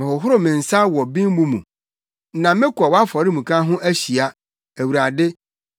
Mehohoro me nsa wɔ bembu mu, na mekɔ wʼafɔremuka ho ahyia, Awurade,